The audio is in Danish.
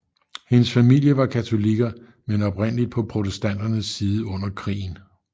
Hendes familie var katolikker men oprindeligt på protestanternes side under krigen